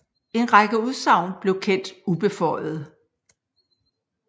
En række udsagn blev kendt ubeføjede